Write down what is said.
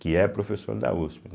Que é professor da uspe, né?